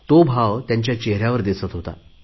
तो भाव साक्षात रुपात त्यांच्यामध्ये दिसत होता